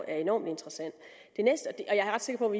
er enormt interessant jeg er ret sikker